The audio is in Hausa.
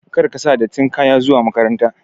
Kar ka sa dattin kaya zuwa makaranta!